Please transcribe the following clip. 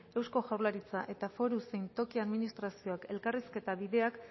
eusko jaurlaritza eta foru zein toki administrazioak elkarrizketa bideak